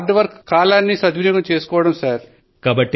కఠోరం గా శ్రమించడం ఇంకా కాలాన్ని సద్వినియోగం చేసుకోవడం సర్